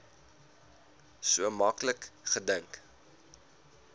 so maklik gedink